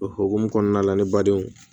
O hukumu kɔnɔna la ni badenw